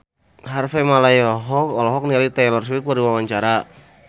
Harvey Malaiholo olohok ningali Taylor Swift keur diwawancara